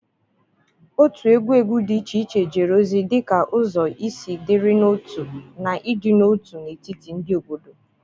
otu egwu egwu dị iche iche jere ozi dị ka ụzọ isi dịrị n'otu na ịdị n'otu n'etiti ndị obodo.